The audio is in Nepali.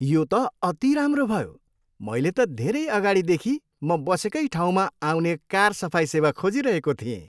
यो त अति राम्रो भयो! मैले त धेरै अगाडिदेखि म बसेकै ठाउँमा आउने कार सफाइ सेवा खोजिरहेको थिएँ।